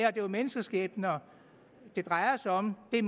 er jo menneskeskæbner det drejer sig om det er